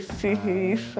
isso.h.